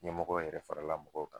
Ɲɛmɔgɔ yɛrɛ farala mɔgɔw kan.